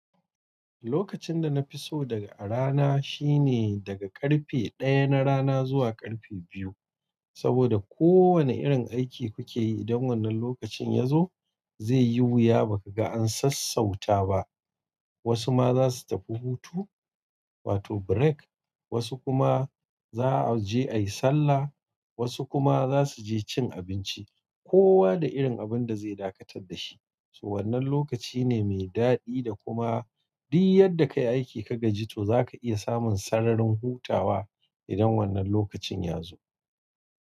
Lokacin da na fi so daga a rana shine daga ƙarfe ɗaya na rana zuwa ƙarfe biyu. Saboda kowane irin aiki kuke yi idan wannan lokacin ya zo zai yi wuya baka ga an sassauta ba. Wasu ma za su tafi hutu, wato break, wasu kuma za a je ayi sallah, wasu kuma za su je cin abinci. Kowa da irin abun da zai dakatar dashi. To wannan lokaci ne mai daɗi da kuma duk yadda ka yi aiki ka gaji to za ka iya samun sararin hutawa idan wannan lokacin ya zo.